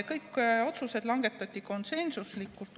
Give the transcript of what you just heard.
Kõik otsused langetati konsensuslikult.